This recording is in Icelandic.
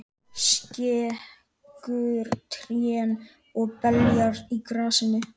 Skekur trén og beljar á grasinu.